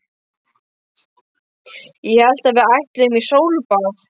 Ég hélt að við ætluðum í sólbað!